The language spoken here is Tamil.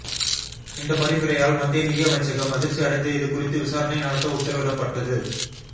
இந்த பரிந்துரையால் மத்திய நிதியமைச்சகம் அதிர்ச்சி அடைந்து இதுகுறித்து விசாரணை நடத்த உத்தரவிடப்பட்டது